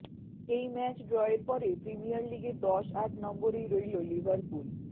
এই ম্যাচ ড্রয়ের পরে প্রিমিয়র লিগে দশ আট নম্বরেই রইল লিভারপুল